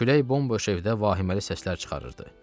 Külək bomb-boş evdə vahiməli səslər çıxarırdı.